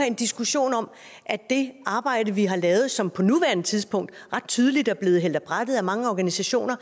en diskussion om at det arbejde vi har lavet som på nuværende tidspunkt ret tydeligt er blevet hældt af brættet af mange organisationer